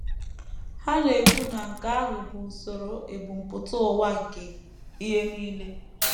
Ha na - ekwu na nke ahụ bụ usoro ebumpụta ụwa nke ihe nile.